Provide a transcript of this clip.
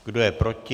Kdo je proti?